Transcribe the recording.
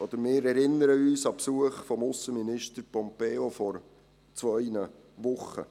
Wir erinnern uns an den Besuch des Aussenministers Pompeo vor zwei Wochen.